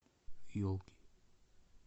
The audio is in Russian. елки